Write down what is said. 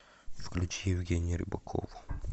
включи евгению рыбакову